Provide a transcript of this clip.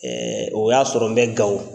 o y'a sɔrɔ n bɛ Gawo.